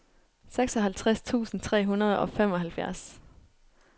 seksoghalvtreds tusind tre hundrede og femoghalvfjerds